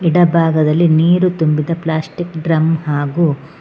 ಎಡ ಭಾಗದಲ್ಲಿ ನೀರು ತುಂಬಿದ ಪ್ಲಾಸ್ಟಿಕ್ ಡ್ರಮ್ ಹಾಗು--